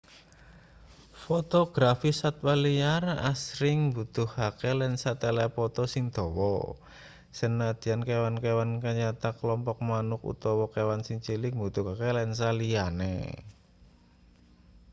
fotografi satwa liar asring mbutuhake lensa telepoto sing dawa sanadyan kewan-kewan kayata klompok manuk utawa kewan sing cilik mbutuhake lensa liyane